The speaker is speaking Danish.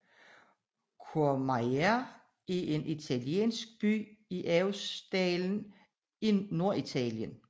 Courmayeur er en italiensk by i Aostadalen i Norditalien